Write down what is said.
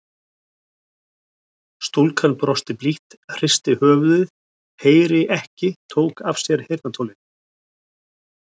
Stúlkan brosti blítt, hristi höfuðið, heyri ekki, tók af sér heyrnartólin.